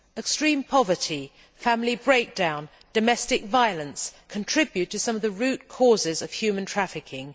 Extreme poverty, family breakdown and domestic violence contribute to some of the root causes of human trafficking.